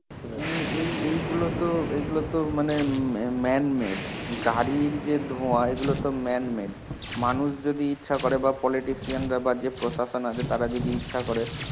ইম এই এইগুলোতো এইগুলোতো মানে ম ম man made. গাড়ীর যে ধোয়া, এগুলোতো man made. মানুষ যদি ইচ্ছা করে বা politician রা বা যে প্রসাসন আছে তারা যদি ইচ্ছা করে